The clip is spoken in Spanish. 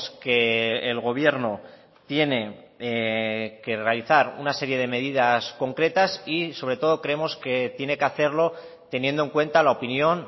que el gobierno tiene que realizar una serie de medidas concretas y sobre todo creemos que tiene que hacerlo teniendo en cuenta la opinión